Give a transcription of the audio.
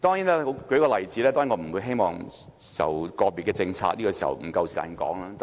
我舉一個例子，當然我不希望討論個別政策，現在不夠時間說。